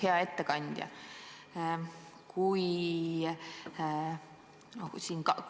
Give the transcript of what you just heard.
Hea ettekandja!